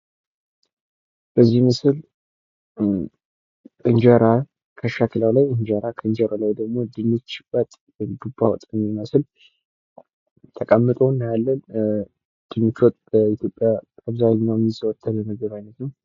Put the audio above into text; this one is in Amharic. የተመጣጠነ ምግብ ጤናማ አኗኗር ለመምራት ወሳኝ ሲሆን የተለያዩ የምግብ አይነቶችን በአግባቡ መመገብን ያካትታል።